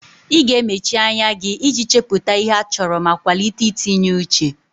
Ị ga-emechi anya gị iji chepụta ihe a chọrọ ma kwalite itinye uche.